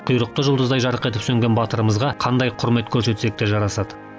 құйрықты жұлдыздай жарқ етіп сөнген батырымызға қандай құрмет көрсетсек те жарасады